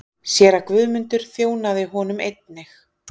Séra Guðmundur þjónaði honum einnig.